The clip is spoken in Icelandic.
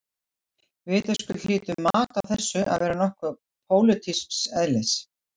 Vitaskuld hlýtur mat á þessu að vera nokkuð pólitísks eðlis.